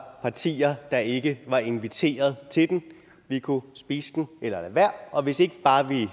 partier der ikke var inviteret vi kunne spise den eller lade være og hvis ikke vi bare